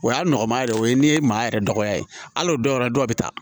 O y'a nɔgɔma yɛrɛ o ye n'i ye maa yɛrɛ dɔgɔya ye hali o dɔw yɛrɛ dɔw bɛ taa